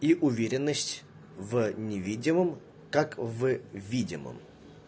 и уверенность в невидимом как в видимом